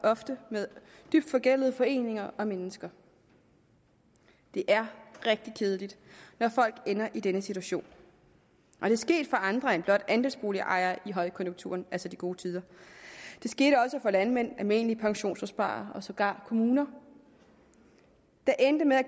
ofte med dybt forgældede foreninger og mennesker det er rigtig kedeligt når folk ender i denne situation og det er sket for andre end blot andelsboligejere under højkonjunkturen altså de gode tider det skete også for landmænd almindelige pensionsopsparere og sågar kommuner der endte med at